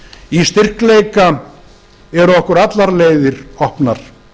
í styrkleika eru okkur allar leiðir opnar